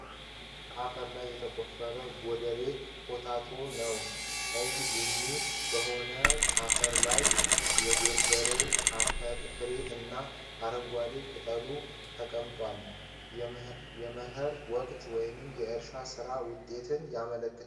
ከአፈር ላይ የተቆፈረ ጎደሬ (ስዊት ፖቴቶ/ያም) ነው ። ቀይ ቡኒ በሆነው አፈር ላይ የጎደሬው ፍሬ እና አረንጓዴ ቅጠሉ ተቀምጧል ። የመኸር ወቅት ወይም የእርሻ ሥራ ውጤትን ያመለክታል።